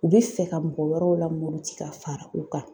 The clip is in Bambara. U bɛ fɛ ka mɔgɔ wɛrɛw lamuruti ka fara u kan.